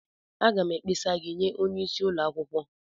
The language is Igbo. Aga m ekpesa gị nye onye isi ụlọ akwukwo.